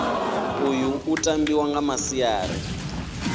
uyu u tambiwa nga masiari